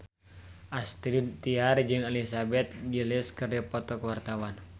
Astrid Tiar jeung Elizabeth Gillies keur dipoto ku wartawan